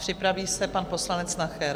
Připraví se pan poslanec Nacher.